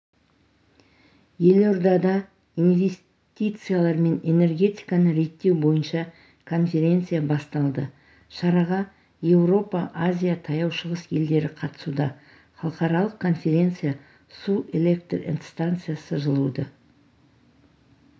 елордада инвестициялар мен энергетиканы реттеу бойынша конференция басталды шараға еуропа азия таяу шығыс елдері қатысуда халықаралық конференция су электр энергиясы жылуды